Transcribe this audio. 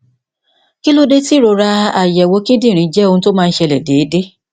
kí ló dé tí ìrora àyẹwò kíndìnrín jẹ ohun tí ó máa ń ṣẹlẹ déédéé